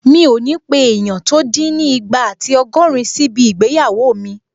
Mi ò ní pé èèyàn tó dín ní ìgbà àti ọgọ́rin síbi ìgbéyàwó mi